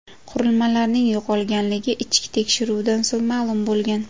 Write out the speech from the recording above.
Qurilmalarning yo‘qolganligi ichki tekshiruvdan so‘ng ma’lum bo‘lgan.